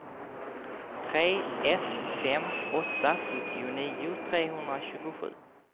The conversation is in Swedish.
tre ett fem åtta sjuttionio trehundratjugosju